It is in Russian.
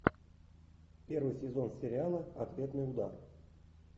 первый сезон сериала ответный удар